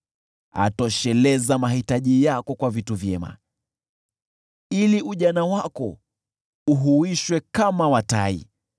atosheleza mahitaji yako kwa vitu vyema, ili ujana wako uhuishwe kama wa tai.